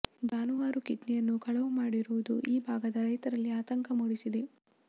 ಜಾನುವಾರು ಕಿಡ್ನಿಯನ್ನೂ ಕಳವು ಮಾಡಿರುವುದು ಈ ಭಾಗದ ರೈತರಲ್ಲಿ ಆತಂಕ ಮೂಡಿಸಿದೆ